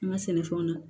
An ka sɛnɛfɛnw na